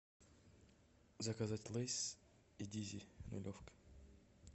заказать лейс и дизель нулевка